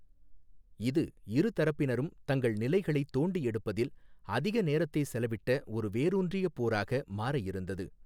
இது இரு தரப்பினரும் தங்கள் நிலைகளை தோண்டி எடுப்பதில் அதிக நேரத்தை செலவிட்ட ஒரு வேரூன்றிய போராக மாற இருந்தது.